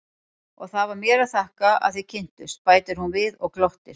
Og það var mér að þakka að þið kynntust, bætir hún við og glottir.